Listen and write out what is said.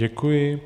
Děkuji.